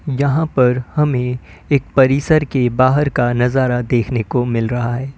यहां पर हमें एक परिसर के बाहर का नजारा देखने को मिल रहा है।